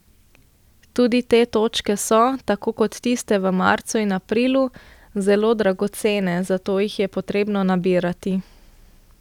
Tudi te točke so, tako kot tiste v marcu in aprilu, zelo dragocene, zato jih je potrebno nabirati.